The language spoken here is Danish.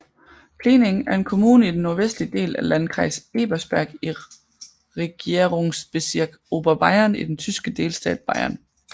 Pliening er en kommune i den nordvestlige del af Landkreis Ebersberg i Regierungsbezirk Oberbayern i den tyske delstat Bayern